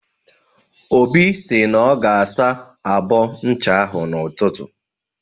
Obi sị na ọ ga-asa abọ ncha ahụ n'ụtụtụ.